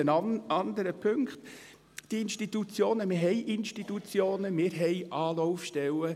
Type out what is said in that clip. Bei den anderen Punkten: Wir haben Institutionen, wir haben Anlaufstellen.